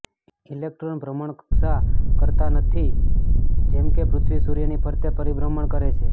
electron ભ્રમણકક્ષા કરતા નથી જેમ કે પૃથ્વી સૂર્યની ફરતે પરિભ્રમણ કરે છે